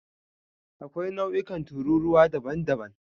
Akwai nau'ikan tururuwa daban-daban.